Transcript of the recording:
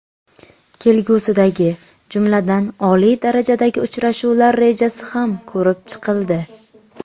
Kelgusidagi, jumladan, oliy darajadagi uchrashuvlar rejasi ham ko‘rib chiqildi.